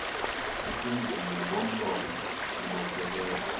esenziwe ngomlomo sibophelela